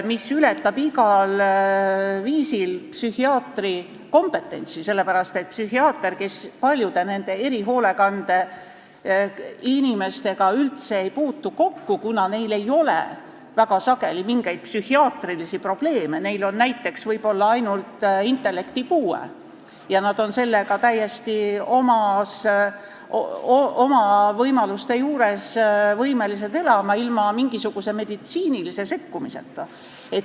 See ületab igal viisil psühhiaatri kompetentsi, sest psühhiaater ei puutu paljude erihoolekande alla kuuluvate inimestega üldse kokku, kuna neil ei ole väga sageli mingeid psühhiaatrilisi probleeme, neil on näiteks ainult intellektipuue ja nad on oma võimaluste piires täiesti võimelised elama ilma igasuguse meditsiinilise sekkumiseta.